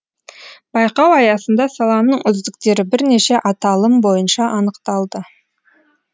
байқау аясында саланың үздіктері бірнеше аталым бойынша анықталды